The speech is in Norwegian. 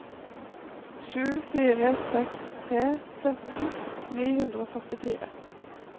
sju fire seks tre sytten ni hundre og førtifire